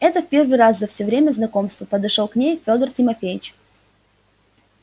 это в первый раз за всё время знакомства подошёл к ней федор тимофеич